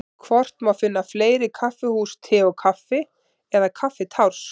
Hvort má finna fleiri kaffihús Te og Kaffi eða Kaffitárs?